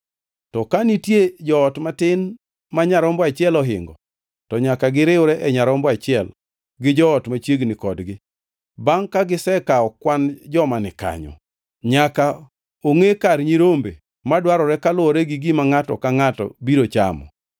To ka nitie joot matin ma nyarombo achiel ohingo, to nyaka giriwre e nyarombo achiel gi joot machiegni kodgi, bangʼ ka gisekawo kwan joma ni kanyo. Nyaka ongʼe kar nyirombe madwarore kaluwore gi gima ngʼato ka ngʼato biro chamo.